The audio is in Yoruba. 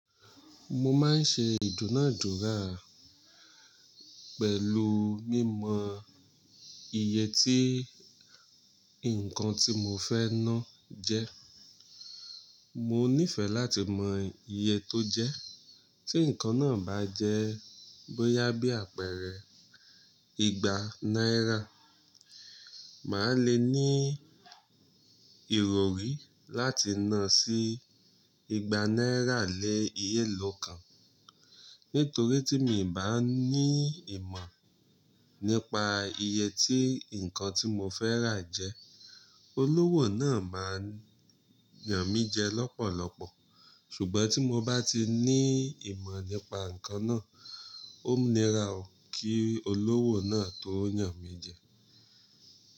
Mo máa ń ṣe ìdúnàádúrà pẹ̀lú mímọ iye tí nǹkan tí mo fẹ́ ná jẹ́. Mo nífẹ̀ẹ́ láti mọ iye tó jẹ́. Tí nǹkan náà bá jẹ́ bóyá bí àpẹẹrẹ igba náírà, màá le ní ìròrí láti nà án sí igba náírà lé iye lọ́ kan. Nítorí tí mi i bá ní ìmọ̀ nípa iye tí nǹkan tí mo fẹ́ rà jẹ́, olówò náà máa yàn mí jẹ lọ́pọ̀lọpọ̀. Ṣùgbọ́n tí mo bá ti ní ìmọ̀ nípa nǹkan náà, ó níra o kí olówò náà tó yàn mí jẹ.